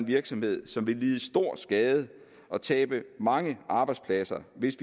virksomhed som vil lide stor skade og tabe mange arbejdspladser hvis